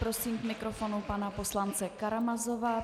Prosím k mikrofonu pana poslance Karamazova.